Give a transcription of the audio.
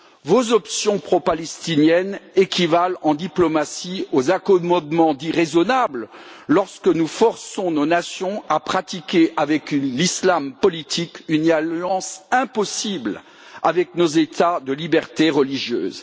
Vos options pro palestiniennes équivalent, en diplomatie, aux accommodements dits raisonnables selon lesquels nous forçons nos nations à pratiquer, avec l'islam politique, une alliance impossible avec nos États de liberté religieuse.